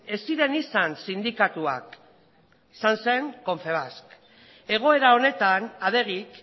ez ziren izan sindikatuak izan zen confebask egoera honetan adegik